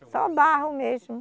Só o barro mesmo?